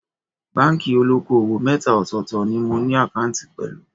Báńkì olóko-òwò mẹ́ta ọ̀tọ̀ọ̀tọ̀ ni mo ní àkáǹtì pẹ̀lú